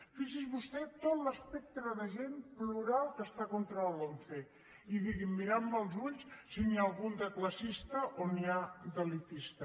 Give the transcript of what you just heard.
fixi’s vostè tot l’espectre de gent plural que està contra la lomce i digui’m mirant me als ulls si n’hi ha algun de classista o n’hi ha d’elitista